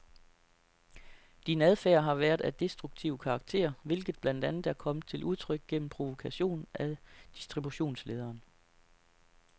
Din adfærd har været af destruktiv karakter, hvilket blandt andet er kommet til udtryk gennem provokation af distributionslederen.